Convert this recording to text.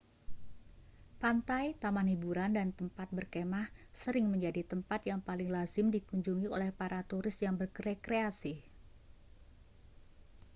pantai taman hburan dan tempat berkemah sering menjadi tempat yang paling lazim dikunjungi oleh para turis yang berekreasi